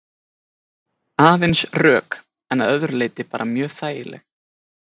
Aðeins rök en að öðru leyti bara mjög þægileg?